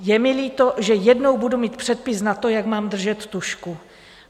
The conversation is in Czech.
Je mi líto, že jednou budu mít předpis na to, jak mám držet tužku.